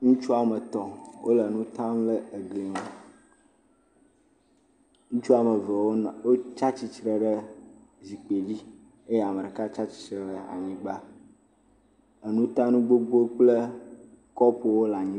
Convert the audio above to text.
Ŋutsu woame etɔ̃ wole nu tam le egli ŋu. Ŋutsu woame eve wonɔ, wotsa tsitsre ɖe zikpidzi eye ame ɖeka tsa tsitsre ɖe anyigba. Enutanu gbogbowo kple kɔɔpowo le anyi.